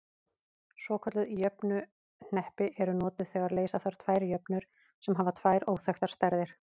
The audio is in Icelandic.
Svokölluð jöfnuhneppi eru notuð þegar leysa þarf tvær jöfnur sem hafa tvær óþekktar stærðir.